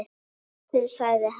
Loksins sagði hann.